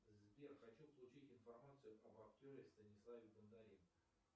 сбер хочу получить информацию об актере станиславе бондаренко